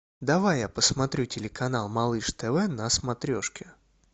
давай я посмотрю телеканал малыш тв на смотрешке